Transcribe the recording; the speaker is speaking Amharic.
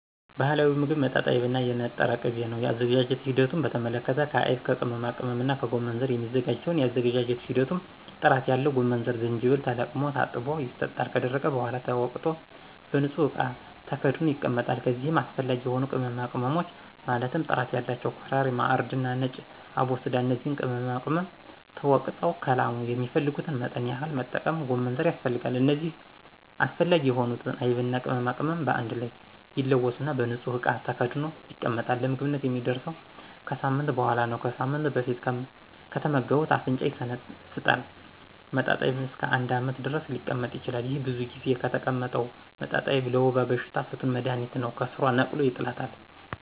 ባህላዊ ሞግብ መጣጣይብ እና የነጠረ ቅቤ ነው የአዘገጃጀቱ ሂደት በተመለከተ ከአይብ ከቅመማቅመምና ከጎመንዘር የሚዘጋጅ ሲሆን የአዘገጃጀት ሂደቱም ጥራት ያለው ጎመንዘርና ጅጅብል ተለቅሞ ታጥቦ ይሰጣል ከደረቀ በሗላ ተወቅጦ በንጹህ እቃ ተከድኖ ይቀመጣል ከዚይም አሰፈላጊ የሆኑ ቅመማቅመሞች ማለትም ጥራት ያላቸው ኮረሪማ :እርድና ነጭ አቦስዳ እነዚህ ቅመማቅመም ተወግጠው ከላሙ የሚፈልጉትን መጠን ያክል መጠቀም ጎመንዘር ያስፈልጋል እነዚህ አስፈላጊ የሆኑትን አይብና ቅመማቅመም በአንድ ላይ ይለወሱና በንጹህ እቃ ተከድኖ ይቀመጣል ለምግብነት የሚደርሰው ከሳምንት በሗላ ነው ከሳምንት በፊት ከተመገቡት አፍንጫን ይሸነፍጣል መጣጣይብ እስከ አንድ አመት ድረስ ሊቀመጥ ይችላል። ይሄ ብዙ ጊዜ የተቀመጠው መጣጣይብ ለወባ በሽታ ፍቱን መድሀኒት ነው ከስሯ ነቅሎ ይጥላታል።